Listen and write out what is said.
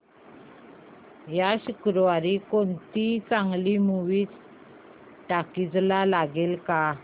या शुक्रवारी कोणती चांगली मूवी टॉकीझ ला लागेल का